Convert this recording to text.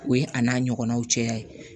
O ye a n'a ɲɔgɔnnaw caya ye